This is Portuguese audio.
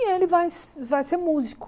E ele vai vai ser músico.